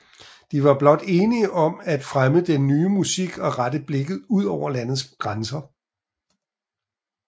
De var blot enige om at fremme den ny musik og rette blikket ud over landets grænser